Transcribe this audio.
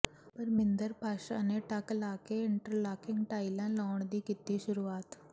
ਪਰਮਿੰਦਰ ਪਾਸ਼ਾ ਨੇ ਟੱਕ ਲਾ ਕੇ ਇੰਟਰਲਾਕਿੰਗ ਟਾਇਲਾਂ ਲਾਉਣ ਦੀ ਕੀਤੀ ਸ਼ੁਰੂਆਤ